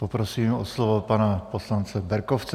Poprosím o slovo pana poslance Berkovce.